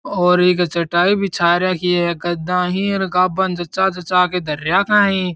और एक चटाई बिछा रखी है गद्दा ही गाबा ने जच्चा जच्चा के धर राखा ही।